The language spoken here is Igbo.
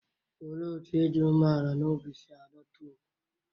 Olee otú ịdị umeala n'obi si adọta ùgwù?